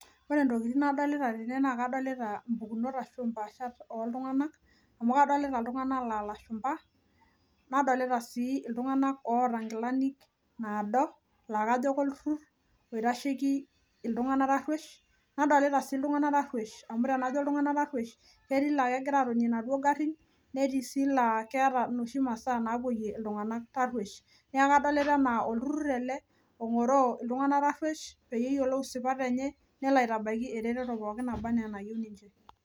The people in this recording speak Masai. Wore intokitin nadolita tene naa kadolita impukunot arashu impaashat oltunganak. Amu kadoolta iltunganak laa ilashumba, nadolita sii iltunganak oota inkilani naado naa kajo kolturrur oitasheki iltunganak tarruesh. Nadolita sii iltunganak tarruesh amu tenajo iltunganak tarruesh ketii ilaa kekira aatonie inaduo karrin, netii sii laa keeta inoshi masaa naapoyie iltunganak tarruesh.. Neeku kadolita enaa olturrur ele ongoroo iltunganak tarruesh, peyie eyiolou isipat enye, nelo aitabaiki eretoto pookin naba enaa enayieu ninche.